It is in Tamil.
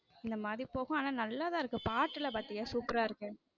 இந்த மாதிரி போகும் ஆனா நல்லா தான் இருக்கும் பாட்டு எல்லாம் பாத்தியா super ரா இருக்கு.